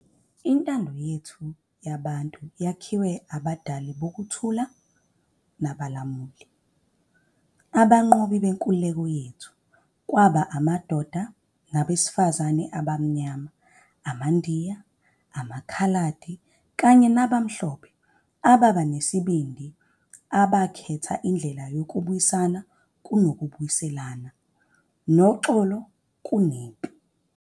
Intando yethu yabantu yakhiwa ngabadali bokuthula nabalamuli. Abanqobi benkululeko yethu kwakungamadoda nabesifazane abaMnyama, amaNdiya, amaKhaladi kanye nabamhlophe ababenesibindi abakhetha indlela yokubuyisana kunokubuyisela, noxolo kunempi.